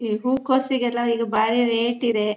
ಈ ಹೂಕೋಸಿಗೆ ಎಲ್ಲ ಈಗ ಬಾರಿ ರೇಟ್ ಇದೆ .